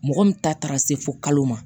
Mɔgɔ min ta taara se fo kalo ma